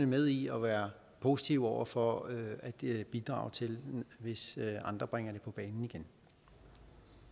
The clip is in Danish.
med i og være positive over for at bidrage til hvis andre bringer